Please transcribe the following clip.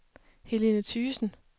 Helene Thygesen